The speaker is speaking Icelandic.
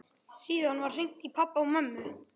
Síðan var hringt í pabba og mömmu.